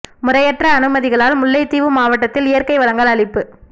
முறையற்ற அனுமதிகளால் முல்லைத்தீவு மாவட்டத்தில் இயற்கை வளங்கள் அழிப்பு